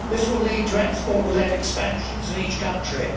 This will lead to export led expansion in each country.